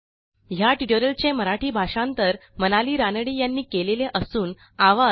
ह्या ट्युटोरियलचे मराठी भाषांतर मनाली रानडे यांनी केलेले असून आवाज